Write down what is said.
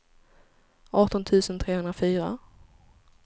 arton tusen trehundrafyra